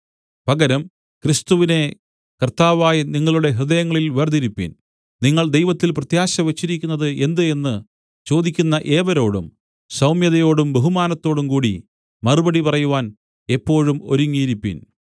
പകരം ക്രിസ്തുവിനെ കർത്താവായി നിങ്ങളുടെ ഹൃദയങ്ങളിൽ വേർതിരിപ്പിൻ നിങ്ങൾ ദൈവത്തിൽ പ്രത്യാശ വെച്ചിരിക്കുന്നത് എന്ത് എന്ന് ചോദിക്കുന്ന ഏവരോടും സൗമ്യതയോടും ബഹുമാനത്തോടുംകൂടി മറുപടി പറയുവാൻ എപ്പോഴും ഒരുങ്ങിയിരിപ്പിൻ